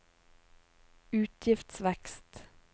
utgiftsvekst